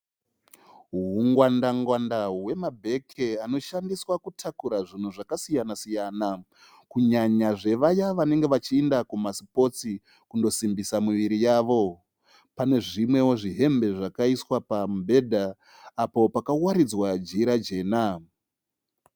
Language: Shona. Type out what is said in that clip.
Hungwandangwanda hwemabheke anoshandisa kutakura zvinhu zvakasiyana-siyana. Kunyanya zvevaya vanenge vachiyinda kuma sipotsi kundosimbisa miviri yavo. Pane zvimwewo zvihembe zvakaiswa pamubhedha apo pakawaridzwa jira jena.